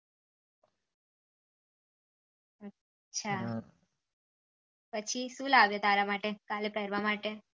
પછી શું લાવે તારે માટે કાલે પેહ્રવા માટે